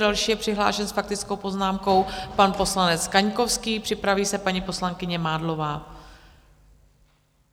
Další je přihlášen s faktickou poznámkou pan poslanec Kaňkovský, připraví se paní poslankyně Mádlová.